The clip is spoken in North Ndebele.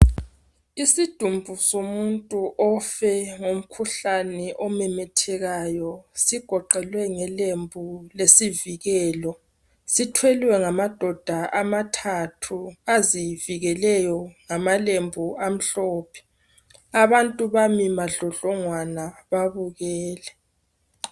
Isidumbu somuntu ofe ngomkhuhlane omemethekayo sigoqelwe ngelembu lesivikelo. Sithwelwe ngamadoda amathathu azivikeleyo ngamalembu amhlophe, abantu bami madlodlongwana babukele.